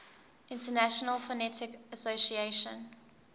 international phonetic association